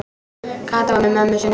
Kata var með mömmu sinni.